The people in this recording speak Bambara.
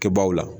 Kɛbaw la